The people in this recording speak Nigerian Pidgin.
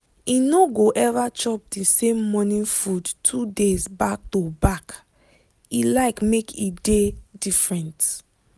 e no go ever chop the same morning food two days back-to-back e like make e dey different.